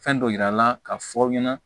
Fɛn dɔ yira n na k'a fɔ aw ɲɛna